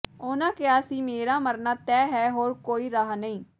ਉਨਾਂ ਕਿਹਾ ਸੀ ਮੇਰਾ ਮਰਨਾ ਤੈਅ ਹੈ ਹੋਰ ਕੋਈ ਰਾਹ ਨਹੀਂ